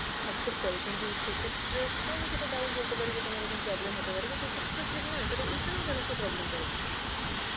accept করে. কিন্তু সে ক্ষেত্রে তো আমি সেটা তাও বলতে পারি যে কোনোরকম problem হতে পারে, কিন্তু এ ক্ষেত্রে তো সেটা নয় তাহলে এই খানেও কেন সেই problem টা হচ্ছে?